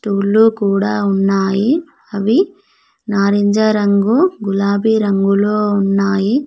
ఊర్లో కూడా ఉన్నాయి అవి నారింజ రంగు గులాబీ రంగులో ఉన్నాయి.